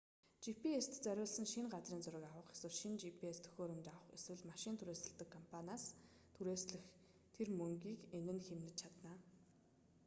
gps-т зориулан шинэ газрын зураг авах эсвэл шинэ gps төхөөрөмж авах эсвэл машин түрээсэлдэг компаниас түрээслэх тэр мөнгийг энэ нь хэмнэж чадна